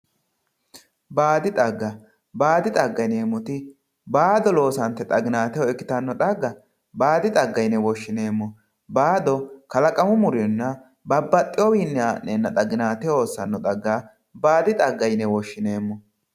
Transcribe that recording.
baadi xagga baadi xagga yineemmoti baado loosante xaginaateho ikkitanno xagga baadi xagga yine woshshineemmo baado kalaqamu muronna babbaxewowiinni haa'neenna xaginateho hossanno xagga baadi xagga yine woshshineemmo.